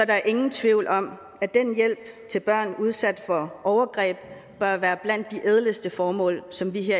der ingen tvivl om at den hjælp til børn udsat for overgreb bør være blandt de ædleste formål som vi